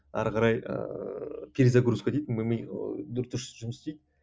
ары қарай ыыы перезагрузка дейді ми ыыы дұрыс жұмыс істейді